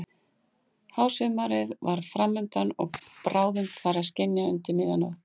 Hásumarið var fram undan og bráðum færi að skyggja undir miðja nótt.